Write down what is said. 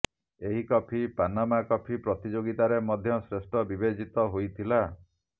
ଏହି coffee Panama coffee ପ୍ରତିଯୋଗିତାରେ ମଧ୍ୟ ଶ୍ରେଷ୍ଠ ବିବେଚିତ ହୋଇଥିଲା